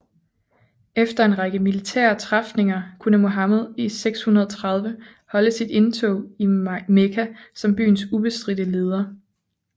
Efter en række militære træfninger kunne Muhammed i 630 holde sit indtog i Mekka som byens ubestridte leder